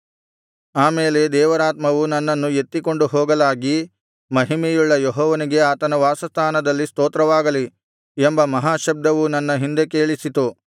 ಆಮೇಲೆ ದೇವರಾತ್ಮವು ನನ್ನನ್ನು ಎತ್ತಿಕೊಂಡು ಹೋಗಲಾಗಿ ಮಹಿಮೆಯುಳ್ಳ ಯೆಹೋವನಿಗೆ ಆತನ ವಾಸಸ್ಥಾನದಲ್ಲಿ ಸ್ತೋತ್ರವಾಗಲಿ ಎಂಬ ಮಹಾಶಬ್ದವು ನನ್ನ ಹಿಂದೆ ಕೇಳಿಸಿತು